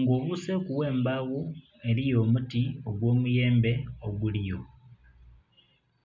nga obuseku gh'embagho eliyo omuti ogwo miyembe oguliyo.